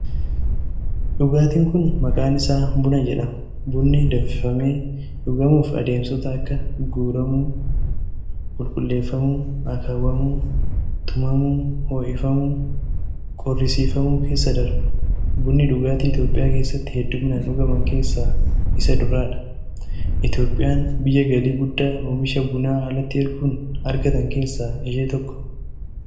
Dhugaatiin kun, maqaan isaa buna jedhama. Bunni danfifamee dhugamuuf adeemsota akka:guuramuu, qulqulleeffamuu, akaawwamuu, tumamuu, bishaaniin ho'ifamuu fi qorrisiifamuu keessa darba, Bunni dhugaatii Itoophiyaa keessatti hedduumminaan dhugaman keessaa isa duraa dha. Itoophiyaan biyya galii guddaa oomisha bunaa alatti erguun argatan keessaa ishee tokko.